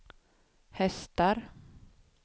hästar